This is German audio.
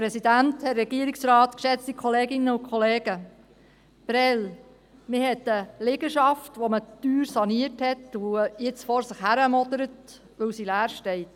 Prêles: Man hat auf der einen Seite eine Liegenschaft, die man teuer saniert hat und jetzt vor sich hin modert, weil sie leer steht.